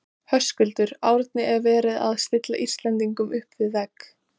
Höskuldur: Árni er verið að stilla Íslendingum upp við vegg?